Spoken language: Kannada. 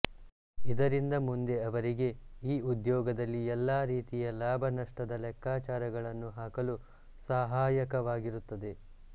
ಇದರಿಂದ ಮುಂದೆ ಅವರಿಗೆ ಈ ಉದ್ಯೋಗದಲ್ಲಿ ಎಲ್ಲಾ ರೀತಿಯ ಲಾಭ ನಷ್ಟದ ಲೆಕ್ಕಾಚಾರಗಳನ್ನು ಹಾಕಲು ಸಹಾಯಕವಾಗಿರುತ್ತದೆ